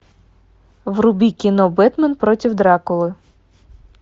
вруби кино бэтмен против дракулы